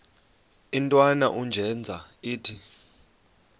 intwana unjeza ithi